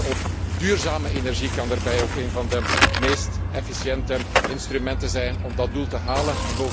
Inzetten op duurzame energie kan daarbij ook een van de meest efficiënte instrumenten zijn om dat doel te halen.